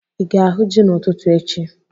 Ị ga-ahu ji n'ụtụtụ echi?